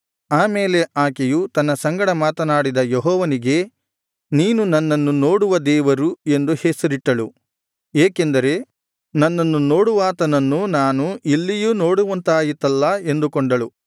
ಆಮೇಲೆ ಆಕೆಯು ತನ್ನ ಸಂಗಡ ಮಾತನಾಡಿದ ಯೆಹೋವನಿಗೆ ನೀನು ನನ್ನನ್ನು ನೋಡುವ ದೇವರು ಎಂದು ಹೆಸರಿಟ್ಟಳು ಏಕೆಂದರೆ ನನ್ನನ್ನು ನೋಡುವಾತನನ್ನು ನಾನು ಇಲ್ಲಿಯೂ ನೋಡುವಂತಾಯಿತಲ್ಲಾ ಎಂದುಕೊಂಡಳು